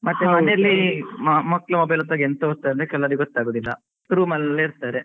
ಮತ್ತೆ ಮನೆಯಲ್ಲಿ ಮಕ್ಕಳು mobile ಒತ್ತುವಾಗ ಎಂತ ಒತ್ತಾರೆ ಅಂತ ಕೆಲವರಿಗೆ ಗೊತ್ತಾಗುದಿಲ್ಲ room ಅಲ್ಲೇ ಇರ್ತಾರೆ.